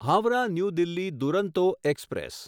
Howrah new Delhi Duronto express